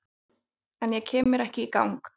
En kem mér ekki í gang